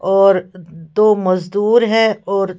और दो मजदूर हैं और--